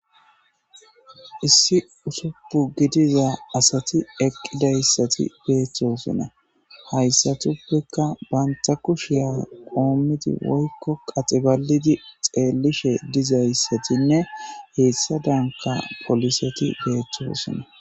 issi usupu gidiza asati eqqidayssati beettosonna hayssatuppeka banta kushiya qoomidi woykko qaxibalidi xeelishe dizayssatinne heessa danka poliseti beettosonna